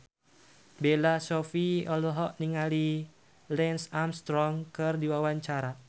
Bella Shofie olohok ningali Lance Armstrong keur diwawancara